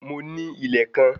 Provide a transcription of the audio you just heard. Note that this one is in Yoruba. Mo ní ilẹ̀ kan